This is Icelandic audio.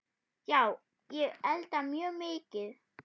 Já, ég elda mjög mikið.